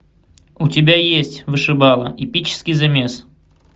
у тебя есть вышибала эпический замес